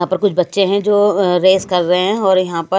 यहां पर कुछ बच्चे हैं जो अ रेस कर रहे हैं और यहां पर--